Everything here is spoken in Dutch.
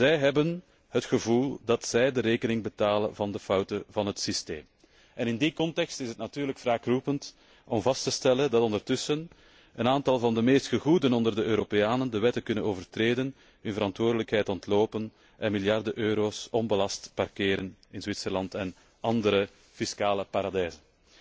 Zij hebben het gevoel dat zij de rekening betalen van de fouten van het systeem. In die context is het natuurlijk wraakroepend om vast te stellen dat ondertussen een aantal van de meest gegoeden onder de Europeanen de wetten kunnen overtreden, hun verantwoordelijkheid ontlopen en miljarden euro's onbelast parkeren in Zwitserland en andere fiscale paradijzen.